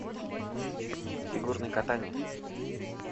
фигурное катание